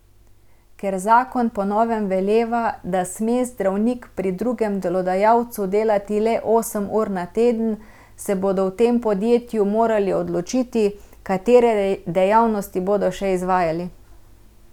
Ker zakon po novem veleva, da sme zdravnik pri drugem delodajalcu delati le osem ur na teden, se bodo v tem podjetju morali odločiti, katere dejavnosti bodo še izvajali.